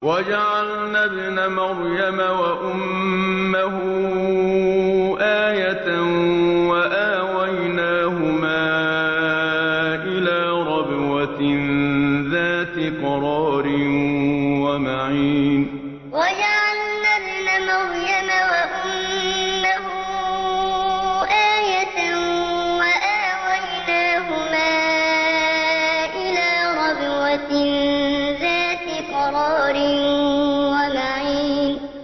وَجَعَلْنَا ابْنَ مَرْيَمَ وَأُمَّهُ آيَةً وَآوَيْنَاهُمَا إِلَىٰ رَبْوَةٍ ذَاتِ قَرَارٍ وَمَعِينٍ وَجَعَلْنَا ابْنَ مَرْيَمَ وَأُمَّهُ آيَةً وَآوَيْنَاهُمَا إِلَىٰ رَبْوَةٍ ذَاتِ قَرَارٍ وَمَعِينٍ